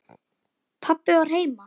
Pabbi var heima.